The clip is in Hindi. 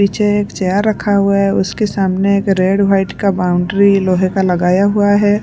पीछे एक चेयार रखा हुआ है उसके सामने एक रेड वाइट का बाउंड्री लोहे का लगाया हुआ है।